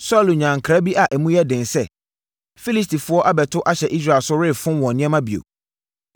Saulo nyaa nkra bi a emu yɛ den sɛ, Filistifoɔ abɛto ahyɛ Israel so refom wɔn nneɛma bio.